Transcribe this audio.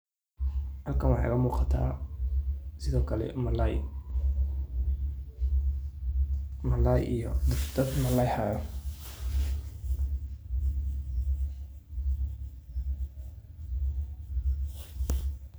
Halkan waxa iga muqatah sethokali malay. Malaya iyo .